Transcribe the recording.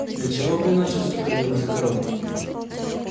для чего бы иначе вступил я в эскадрон